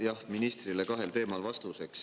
Jah, ministrile kahel teemal vastuseks.